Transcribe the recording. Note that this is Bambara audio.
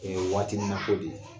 Ee waatinin na ko de ye.